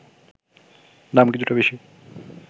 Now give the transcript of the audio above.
দাম কিছুটা বেশি